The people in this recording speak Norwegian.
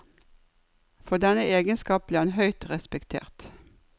For denne egenskap ble han høyt respektert.